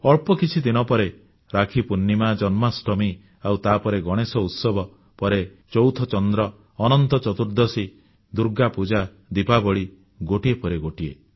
ଅଳ୍ପ କିଛିଦିନ ପରେ ରାକ୍ଷୀ ପୂର୍ଣ୍ଣିମା ଜନ୍ମାଷ୍ଟମୀ ଆଉ ତାପରେ ଗଣେଶ ଉତ୍ସବ ପରେ ଚୌଥ ଚନ୍ଦ୍ର ଅନନ୍ତ ଚତୁର୍ଦ୍ଦଶୀ ଦୁର୍ଗାପୂଜା ଦିପାବଳୀ ଗୋଟିଏ ପରେ ଗୋଟିଏ